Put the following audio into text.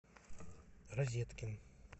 розеткин